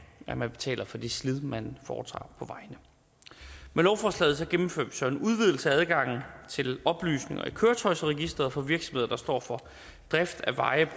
at man betaler for det slid man foretager på vejene med lovforslaget gennemføres der en udvidelse af adgangen til oplysninger i køretøjsregisteret for virksomheder der står for drift af veje